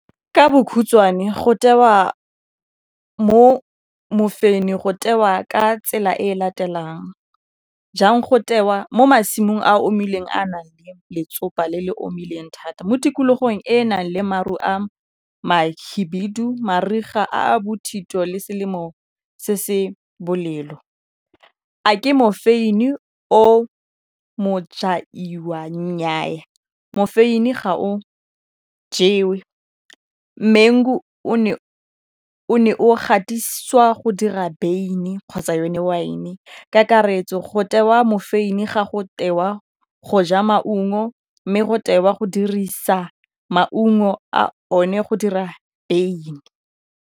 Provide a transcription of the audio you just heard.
Ka bokhutswane go tewa mo mofeini go tewa ka tsela e latelang jang go tewa mo masimong a omileng a a nang le letsopa le le omileng thata mo tikologong e nang le maru a mahibidu, mariga a bothito le selemo se se bolelo. A ke mofeini o nyaa mofeini ga o jewe mango o ne o ne o gatisiwa go dira beine kgotsa yone wine kakaretso go tewa mofeini ga go tewa go ja maungo mme go tewa go dirisa maungo a one go dira beine.